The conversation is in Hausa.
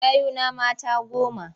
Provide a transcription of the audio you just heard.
Yayuna mata goma.